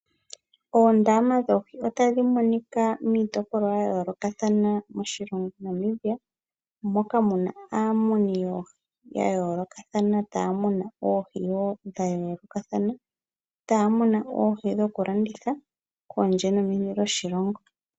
Oondama dhoohi otadhi monika miitopolwa ya yoolokathana moshilongo Namibia moka muna aamuni yoohi ya yolokathana taya munu oohi dha yoolokathana taya munu oohi dhoku landitha kondje nomeni lyoshilongo.